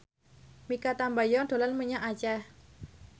Mikha Tambayong dolan menyang Aceh